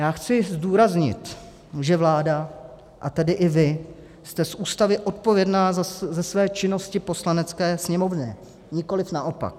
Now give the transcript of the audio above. Já chci zdůraznit, že vláda, a tedy i vy jste z Ústavy odpovědná ze své činnosti Poslanecké sněmovně, nikoliv naopak.